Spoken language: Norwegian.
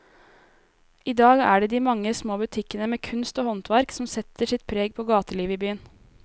I dag er det de mange små butikkene med kunst og håndverk som setter sitt preg på gatelivet i byen.